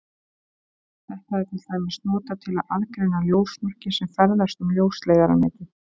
Þetta er til dæmis notað til að aðgreina ljósmerki sem ferðast um ljósleiðaranetið.